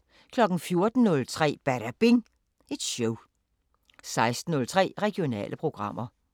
14:03: Badabing Show 16:03: Regionale programmer